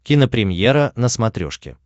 кинопремьера на смотрешке